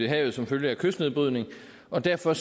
i havet som følge af kystnedbrydning og derfor